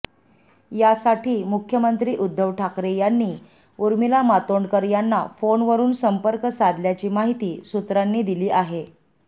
यासाठी मुख्यमंत्री उद्धव ठाकरे यांनी उर्मिला मातोंडकर यांना फोनवरुन संपर्क साधल्याची माहिती सूत्रांनी दिली आहे